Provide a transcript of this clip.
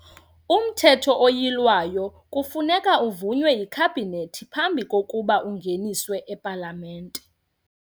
UMthetho oYilwayo kufuneka uvunywe yiKhabhinethi phambi kokuba ungeniswe ePalamente.